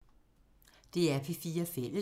DR P4 Fælles